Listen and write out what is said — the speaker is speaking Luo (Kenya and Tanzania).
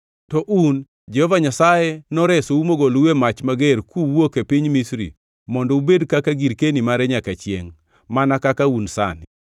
To un, Jehova Nyasaye noresou mogolou e mach mager kuwuok e piny Misri mondo ubed kaka girkeni mare nyaka chiengʼ, mana kaka un sani.